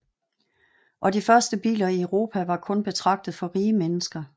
Og de første biler i Europa var kun betragtet for de rige mennesker